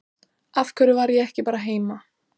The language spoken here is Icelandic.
Af hverju var ég ekki bara heima?